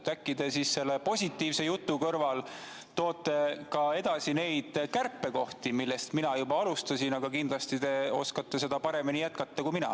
Äkki te toote selle positiivse jutu kõrval ka kärpekohti esile, mida mina juba alustasin, aga teie kindlasti oskate seda paremini jätkata kui mina.